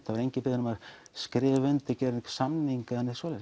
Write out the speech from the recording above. það var enginn beðinn um að skrifa undir gera samning eða neitt svoleiðis